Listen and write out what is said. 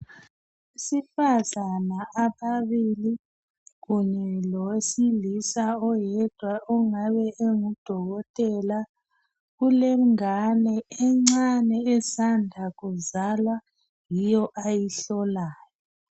Abesifazana ababili kunye lowesilisa oyedwa ongabe engudokotela kulengane encane esanda kuzalwa yiyo ayihlolayo.